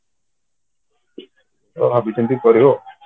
ତ ଭାବି ଚିନ୍ତିକି କରିବ